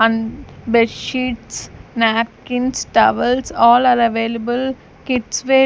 and bedsheets napkins towels all are available kids wear --